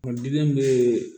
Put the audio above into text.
O diden be